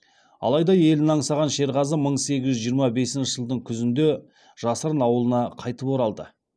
алайда елін аңсаған шерғазы мың сегіз жүз жиырма бесінші жылдың күзінде жасырын ауылына қайтып оралды